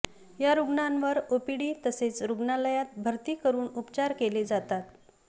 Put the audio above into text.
या रुग्णांवर ओपीडी तसेच रुग्णालयात भरती करून उपचार केले जातात